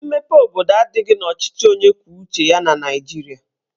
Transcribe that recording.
Mmepe obodo adịghị n'ọchịchị onye kwuo uche ya na Naijiria